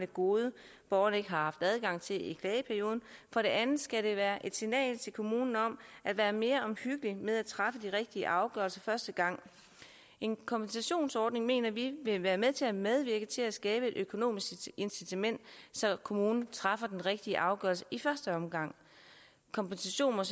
gode borgeren ikke har haft adgang til i klageperioden for det andet skal det være et signal til kommunen om at være mere omhyggelig med at træffe den rigtige afgørelse første gang en kompensationsordning mener vi vil være med til at medvirke til at skabe et økonomisk incitament så kommunen træffer den rigtige afgørelse i første omgang kompensationen